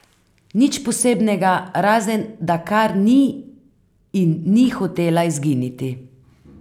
Nič posebnega, razen da kar ni in ni hotela izginiti.